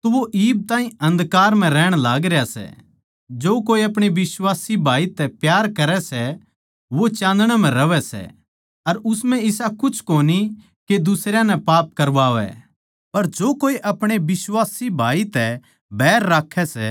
हे बुजुर्गों मै थमनै इस करकै लिखूँ सूं के जो शुरु तै सै थम उसनै जाणो सों हे गबरूओ मै थमनै इस करकै लिखूँ सूं के थमनै उस शैतान पै जीत पाई सै हे लड़को मन्नै थारै ताहीं इस करकै लिख्या सै के थम पिता परमेसवर नै जाणगे सों